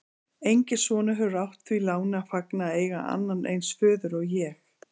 Enginn sonur hefur átt því láni að fagna að eiga annan eins föður og ég.